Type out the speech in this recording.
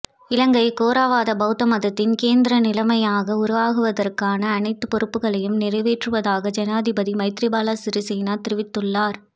இலங்கை தேராவாத பௌத்த மதத்தின் கேந்திர நிலையமாக உருவாக்குவதற்கான அனைத்து பொறுப்புக்களையும் நிறைவேற்றுவதாக ஜனாதிபதி மைத்திரிபால சிறிசேன தெரிவித்துள்ளார்